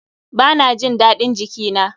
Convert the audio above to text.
Ba na jin daɗin jiki na.